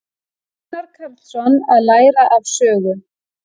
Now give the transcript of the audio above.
Gunnar Karlsson: Að læra af sögu.